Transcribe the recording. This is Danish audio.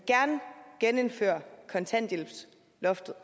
genindfører kontanthjælpsloftet